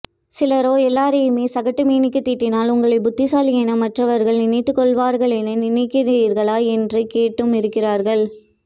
சிலரோ எல்லோரையுமே சகட்டுமேனிக்கு திட்டினால் உங்களை புத்திசாலி என மற்றவர்கள் நினைத்து கொள்வார்கள் என நினைக்கிறிர்களா என்று கேட்டும் இருக்கிறார்கள்